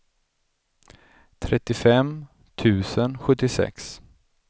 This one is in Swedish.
trettiofem tusen sjuttiosex